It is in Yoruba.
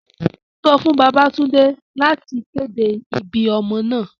Sọ fun Babatunde lati kede ibi ọmọ naa!